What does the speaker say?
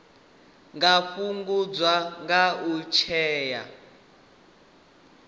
nga fhungudzwa nga u setsha